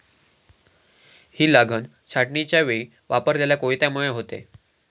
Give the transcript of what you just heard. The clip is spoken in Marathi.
ही लागन छाटणीच्यावेळी वापरलेल्या कोयत्यामुळे होते.